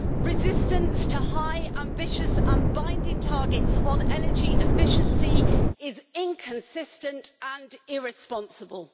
Resistance to high, ambitious and binding targets on energy efficiency is inconsistent and irresponsible.